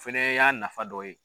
Fɛnɛ y'a nafa dɔ ye.